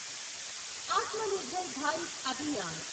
Atmanirbhar Bharat Abhiyan